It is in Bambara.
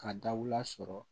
Ka da u la sɔrɔ